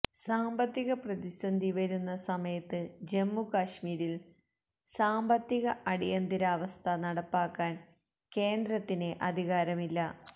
സാമ്പത്തിക പ്രതിസന്ധിവരുന്ന സമയത്ത് ജമ്മു കശ്മീരില് സാമ്പത്തിക അടിയന്തരാവസ്ഥ നടപ്പാക്കാന് കേന്ദ്രത്തിന് അധികാരമില്ല